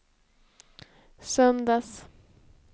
söndags